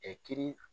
kiiri